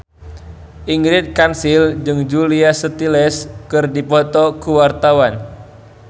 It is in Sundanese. Ingrid Kansil jeung Julia Stiles keur dipoto ku wartawan